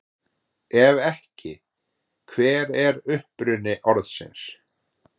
Ef ekki, hver er uppruni orðsins?